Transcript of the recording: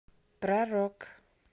про рок